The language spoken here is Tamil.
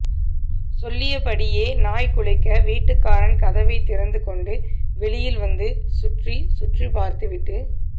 சொல்லியபடியே நாய் குலைக்க வீட்டுக்காரன் கதவைத்திறந்துகொண்டு வெளியில் வந்து சுற்றிச் சுற்றிப்பார்த்துவிட்டு